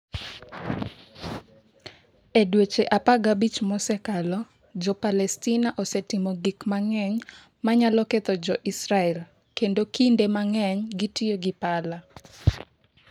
E dweche 15 mosekalo, Jo-Palestina osetimo gik mang’eny ma nyalo ketho Jo-Israel, kendo kinde mang’eny gitiyo gi pala.